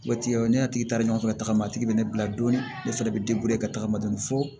Waati ne taara ɲɔgɔn fɛ ka tagama a tigi bɛ ne bila don ne fɛnɛ bɛ ka tagama dɔɔni fɔ